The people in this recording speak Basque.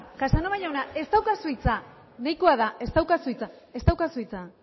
casanova jauna ez daukazu hitza nahikoa da ez daukazu hitza ez daukazu hitza